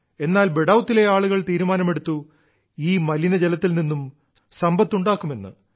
എന്നാൽ ബഡൌതിലെ ആളുകൾ തീരുമാനമെടുത്തു ഈ മലിനജലത്തിൽ നിന്നും സമ്പത്തുണ്ടാക്കുമെന്ന്